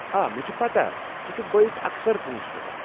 آ، مےٚ چھےٚ پتاہ ژٕ چھکھ بٲیس اکثر پونٛسہٕ سوزان ۔